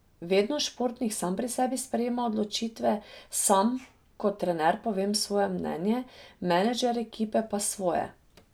Vedno športnik sam pri sebi sprejema odločitve, sam kot trener povem svoje mnenje, menedžer ekipe pa svoje.